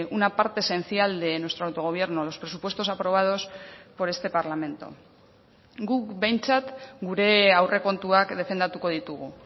una parte esencial de nuestro autogobierno los presupuestos aprobados por este parlamento guk behintzat gure aurrekontuak defendatuko ditugu